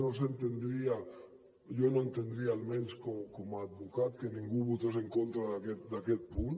no s’entendria jo no ho entendria almenys com a advocat que ningú votés en contra d’aquest punt